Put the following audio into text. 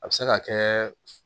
A bɛ se ka kɛ